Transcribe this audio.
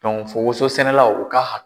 fɔ wososɛnɛlaw u ka ha